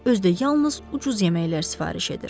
Özü də yalnız ucuz yeməklər sifariş edir.